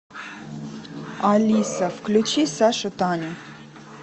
алиса включи саша таня